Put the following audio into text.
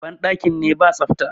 bandakin ne ba tsafta